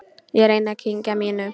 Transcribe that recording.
Ég reyni að kyngja mínu.